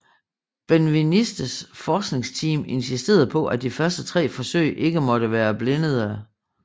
Benvenistes forskningsteam insisterede på at de første tre forsøg ikke måtte være blindede